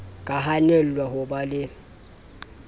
ka hanelwang ho ba le